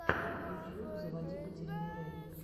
ютьюб заводи катерину рэй